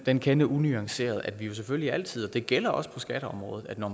den kende unuanceret at vi jo selvfølgelig altid og det gælder også på skatteområdet når